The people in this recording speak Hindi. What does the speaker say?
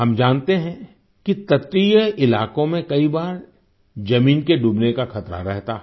हम जानते हैं कि तटीय इलाकों में कई बार ज़मीन के डूबने का खतरा रहता है